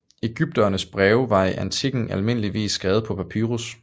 Egypternes breve var i antikken almindeligvis skrevet på papyrus